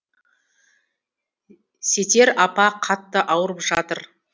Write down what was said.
сетер апа қатты ауырып жатыр